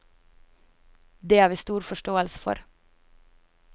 Det har vi stor forståelse for.